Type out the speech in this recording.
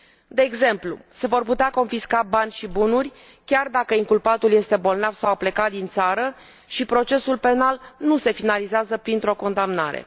De exmplu, se vor putea confisca bani și bunuri chiar dacă inculpatul este bolnav sau a plecat din țară și procesul penal nu se finalizează printr o condamnare.